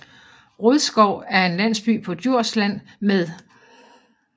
Rodskov er en landsby på Djursland med